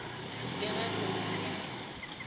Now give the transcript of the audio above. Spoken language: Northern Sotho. le ge go le bjale